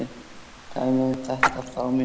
Dæmi um þetta form eru